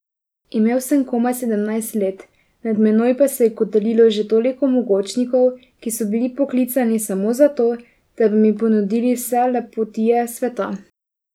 Imel sem komaj sedemnajst let, nad menoj pa se je kotalilo že toliko mogočnikov, ki so bili poklicani samo za to, da bi mi ponudili vse lepotije sveta.